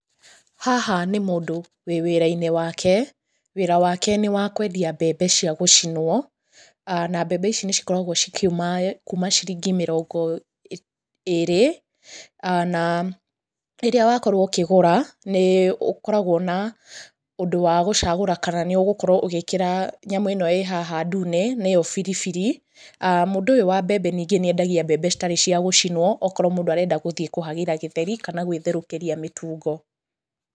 Haha nĩ mũndũ ũrĩ wĩra-inĩ wake. Wĩra wake nĩ wakũendia mbembe cia gũcinwo, na mbembe ici nĩ cikoragũo cikiuma kuma ciringi mĩrongo ĩrĩ. Na rĩrĩa wakorwo ũkĩgũra, nĩ ũkoragũo na ũndũ wa gũcagũra kana nĩ ũgũkorwo ũgĩkĩra nyamũ ĩno ĩhaha ndune nĩo biribiri. Mũndũ ũyũ wa mbembe ningĩ nĩendagia mbembe citarĩ cia gũcinwo, okorwo mũndũ arenda gũthiĩ kũhagĩra gĩtheri kana gwĩtherũkĩria mĩtungo.